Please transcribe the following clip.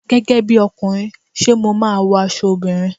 Gẹ́gẹ́ bíi ọkùnrin, ṣé mo máa wọ aṣọ obìnrin?